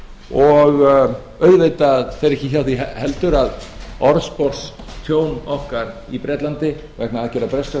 og auðvitað fer ekki hjá því heldur að orðspor tjón okkar í bretlandi vegna aðgerða breskra